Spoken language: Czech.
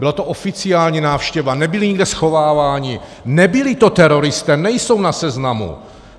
Byla to oficiální návštěva, nebyli nikde schováváni, nebyli to teroristé, nejsou na seznamu.